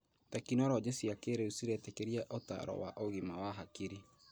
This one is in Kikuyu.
Tekinoronjĩ cia kĩrĩu ciretĩkĩria ũtaaro wa ũgima wa hakiri